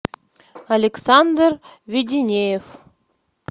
александр веденеев